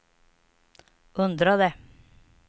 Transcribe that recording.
undrade